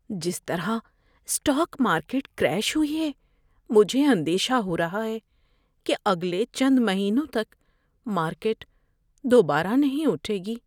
جس طرح stock market crash ہوئی ہے، مجھے اندیشہ ہو رہا ہے کہ اگلے چند مہینوں تک مارکیٹ دوبارہ نہیں اٹھے گی۔